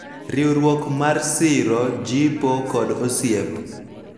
Riwruok mar siro, jipo, kod osiep